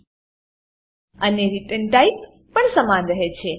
અને return type return type પણ સમાન રહે છે